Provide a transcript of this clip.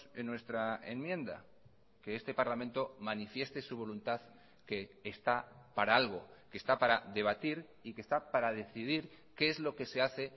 en nuestra enmienda que este parlamento manifieste su voluntad que está para algo que está para debatir y que está para decidir qué es lo que se hace